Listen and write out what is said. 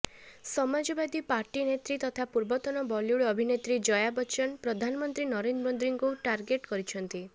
Samajwadi party ନେତ୍ରୀ ତଥା ପୂବର୍ତନ ବଲିଉଡ୍ ଅଭିନେତ୍ରୀ ଜୟା ବଚ୍ଚନ ପ୍ରଧାନମନ୍ତ୍ରୀ ନରେନ୍ଦ୍ର ମୋଦିଙ୍କୁ ଟାର୍ଗେଟ୍ କରିଛନ୍ତି